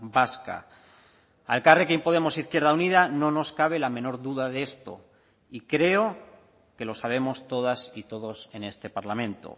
vasca a elkarrekin podemos izquierda unida no nos cabe la menor duda de esto y creo que lo sabemos todas y todos en este parlamento